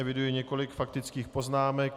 Eviduji několik faktických poznámek.